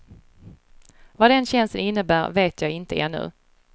Vad den tjänsten innebär vet jag inte ännu.